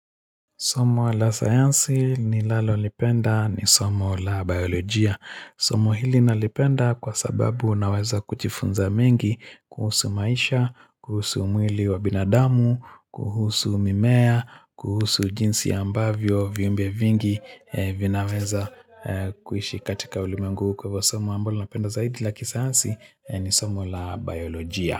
Somo la sayansi nilalolipenda ni somo la biolojia. Somo hili nalipenda kwa sababu unaweza kujifunza mengi kuhusu maisha, kuhusu mwili wa binadamu, kuhusu mimea, kuhusu jinsi ambavyo viumbe vingi vinaweza kuishi katika ulimwengu huu kwa ivo somo ambolo napenda zaidi la kisayansi ni somo la biolojia.